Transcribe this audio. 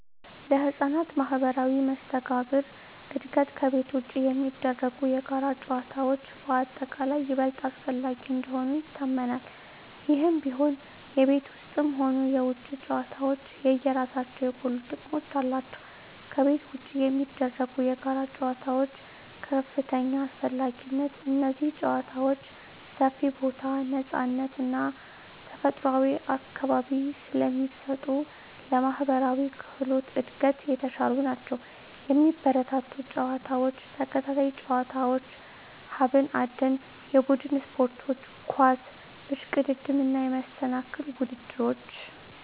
ለሕፃናት ማኅበራዊ መስተጋብር እድገት ከቤት ውጪ የሚደረጉ የጋራ ጨዋታዎች በአጠቃላይ ይበልጥ አስፈላጊ እንደሆኑ ይታመናል። ይህም ቢሆን፣ የቤት ውስጥም ሆኑ የውጪ ጨዋታዎች የየራሳቸው የጎሉ ጥቅሞች አሏቸው። ከቤት ውጪ የሚደረጉ የጋራ ጨዋታዎች (ከፍተኛ አስፈላጊነት) እነዚህ ጨዋታዎች ሰፊ ቦታ፣ ነፃነት እና ተፈጥሯዊ አካባቢ ስለሚሰጡ ለማኅበራዊ ክህሎት እድገት የተሻሉ ናቸው። የሚበረታቱ ጨዋታዎች፦ ተከታታይ ጨዋታዎች፣ ሀብት አደን፣ የቡድን ስፖርቶች (ኳስ፣ እሽቅድድም)፣ እና የመሰናክል ውድድሮች።